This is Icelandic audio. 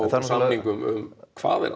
samningum um hvaðeina